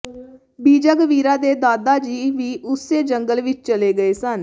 ਬੀਜਾਗਵੀਰਾ ਦੇ ਦਾਦਾ ਜੀ ਵੀ ਉਸੇ ਜੰਗਲ ਵਿਚ ਚਲੇ ਗਏ ਸਨ